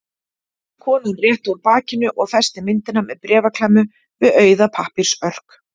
Konan rétti úr bakinu og festi myndina með bréfaklemmu við auða pappírsörk.